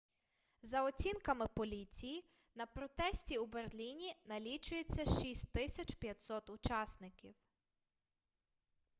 за оцінками поліції на протесті у берліні налічується 6500 учасників